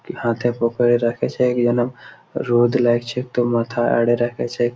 হাতে পকেটে -এ রাখেছে ইয়ান রোদ লাগছে তো মাথায় আড়ে রাখেছে--